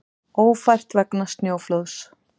Ófært vegna snjóflóðs